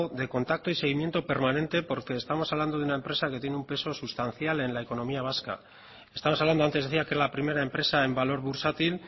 de contacto y seguimiento permanente porque estamos hablando de una empresa que tiene un peso sustancial en la economía vasca estamos hablando antes decía que la primera empresa en valor bursátil